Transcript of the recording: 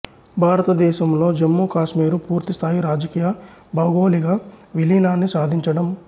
భారతదేశంలో జమ్మూ కాశ్మీరు పూర్తిస్థాయి రాజకీయ భౌగోళిక విలీనాన్ని సాధించటం